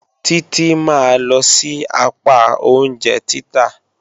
Títí máa lọ sí apá oúnjẹ títà.